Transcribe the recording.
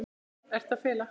Hvað ertu að fela?